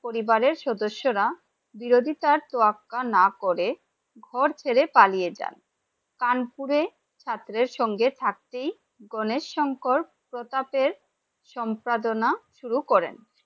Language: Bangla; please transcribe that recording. পরিবারে সদস্যরা বিরোধিতা তোয়াক্কা না করে ঘর ছেড়ে পালিয়ে যান, কানপুরে ছাত্র এর সঙ্গে থাকতেই গণেশ শংকর প্রতাপের সম্পাদনা শুরু করেন ।